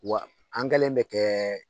Wa an kɛlen bɛ kɛ